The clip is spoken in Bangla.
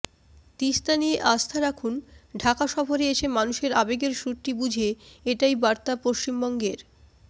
তিস্তা নিয়ে আস্থা রাখুন ঢাকা সফরে এসে মানুষের আবেগের সুরটি বুঝে এটাই বার্তা পশ্চিমবঙ্গের